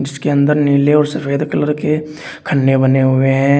इसके अंदर नीले और सफेद कलर के खन्ने बने हुए हैं।